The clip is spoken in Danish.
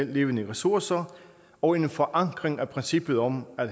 levende ressourcer og en forankring af princippet om at